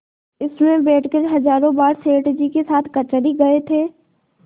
इसमें बैठकर हजारों बार सेठ जी के साथ कचहरी गये थे